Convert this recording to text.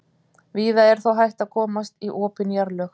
víða er þó hægt að komast í opin jarðlög